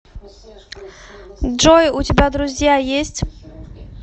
джой у тебя друзья есть